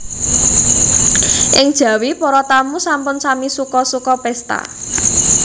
Ing jawi para tamu sampun sami suka suka pésta